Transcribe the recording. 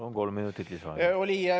Palun, kolm minutit lisaaega.